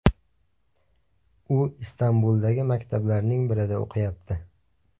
U Istanbuldagi maktablarning birida o‘qiyapti.